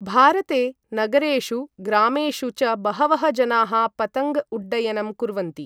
भारते, नगरेषु, ग्रामेषु च बहवः जनाः पतङ्ग उड्डयनं कुर्वन्ति ।